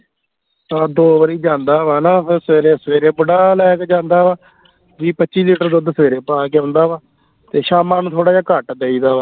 ਹਾਂ ਦੋ ਵਰੀ ਜਾਂਦਾ ਵਾ ਨਾ ਫੇਰ ਸਵੇਰੇ ਸਵੇਰੇ ਬੁੜਾ ਲੈ ਕੇ ਜਾਂਦਾ ਵਾ ਵੀਹ ਪੱਚੀ ਲੀਟਰ ਦੁੱਧ ਸਵੇਰੇ ਪਾ ਕੇ ਆਉਂਦਾ ਵਾ ਤੇ ਸ਼ਾਮਾਂ ਨੂੰ ਥੋੜਾ ਜਾ ਘੱਟ ਦੇਈਦਾ ਵਾ